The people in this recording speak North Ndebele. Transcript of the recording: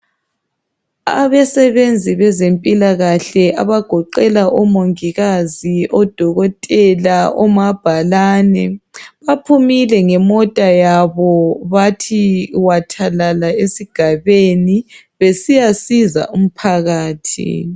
Abasebenzi bezempilakahle abagoqela omongikazi, odokotela omabhalani baphumile ngemota yabo bathi wathalala esigabeni besiyasiza umphakathi